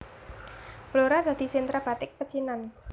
Blora dadi sentra batik pecinan